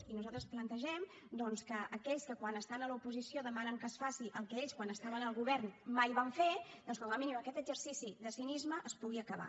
i nosaltres plantegem doncs que aquells que quan estan a l’oposició demanen que es faci el que ells quan estaven al govern mai van fer doncs com a mínim aquest exercici de cinisme es pugui acabar